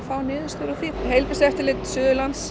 fá niðurstöður úr því heilbrigðiseftirlit Suðurlands